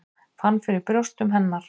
Fann fyrir brjóstum hennar.